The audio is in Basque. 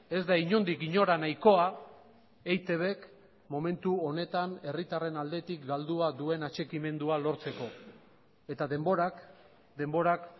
ez da inondik inora nahikoa eitbk momentu honetan herritarren aldetik galdua duen atxikimendua lortzeko eta denborak denborak